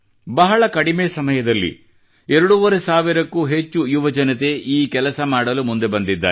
ಬಹಳ ಕಡಿಮೆ ಸಮಯದಲ್ಲಿ ಎರಡೂವರೆ ಸಾವಿರಕ್ಕೂ ಹೆಚ್ಚು ಯುವ ಜನತೆ ಈ ಕೆಲಸ ಮಾಡಲು ಮುಂದೆ ಬಂದಿದ್ದಾರೆ